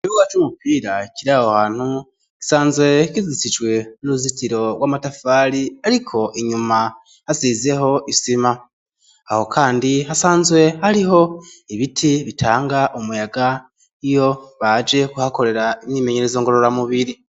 Ikibuga c'umupira kiri aho hantu, gisanzwe kizitijwe n'uruzitiro rw'amatafari, ariko inyuma hasizeho isima. Aho kandi hasanzwe hariho ibiti bitanga umuyaga iyo baje kuhakorera imyimenyerezo ngorora mubiri.